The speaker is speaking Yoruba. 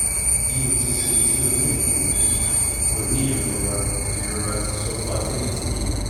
bi o ti ṣe ti o ti ni ikolu o ni irora irora ti subfertility keji